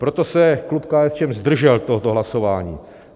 Proto se klub KSČM zdržel tohoto hlasování.